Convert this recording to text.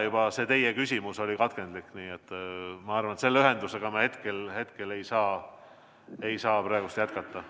Juba see teie küsimus oli katkendlik, nii et ma arvan, et selle ühendusega me ei saa praegu jätkata.